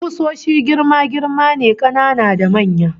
Kusoshi girma-girma ne, kanana da manya